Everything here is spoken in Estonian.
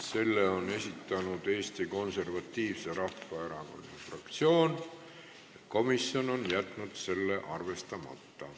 Selle on esitanud Eesti Konservatiivse Rahvaerakonna fraktsioon ja komisjon on jätnud selle arvestamata.